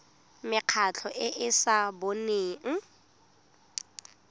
mekgatlho e e sa boneng